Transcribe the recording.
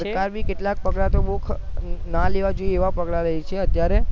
સરકાર બી કેટલા પગલાં તો બોવ ખ ન લેવા જોઈએ એવા પગલાં લે છે અત્યારે